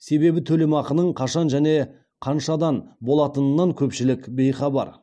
себебі төлемақының қашан және қаншадан болатынынан көпшілік бейхабар